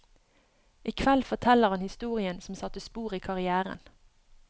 I kveld forteller han historien som satte spor i karrièren.